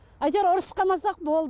әйтеуір ұрсып қалмасақ болды